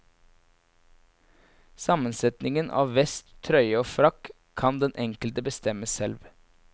Sammensetningen av vest, trøye og frakk kan den enkelte bestemme selv.